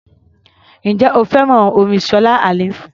Ǹjẹ́ o fẹ́ràn orin Ṣọlá Allyson?